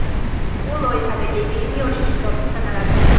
U loyihadagi eng yosh ishtirokchi sanaladi.